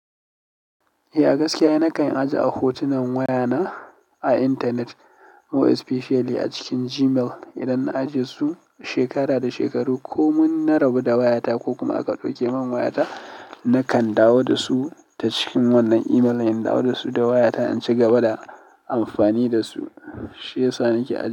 Eh, gaskiya nakan ajiye a hotunan wayana a internet more especially a cikin Gmail. Idan na ajiye su shekara da shekaru ko mun na rabu da wayata ko kuma aka ɗauke min wayata, nakan dawo da su ta cikin wannan email. In dawo da su da wayata, in cigaba da amfani da su, shi yasa nake ajiye su.